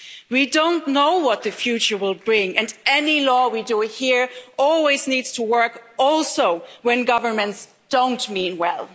We don't know what the future will bring, and any law we do here always needs to work also when governments don't mean well.